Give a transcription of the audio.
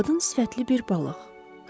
Qadın sifətli bir balıq.